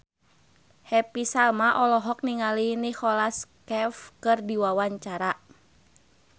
Happy Salma olohok ningali Nicholas Cafe keur diwawancara